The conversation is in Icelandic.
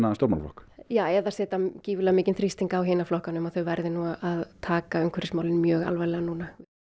stjórnmálaflokk já eða setja gífurlega mikinn þrýsting á hina flokkana um að þeir verði að taka umhverfismálin mjög alvarlega núna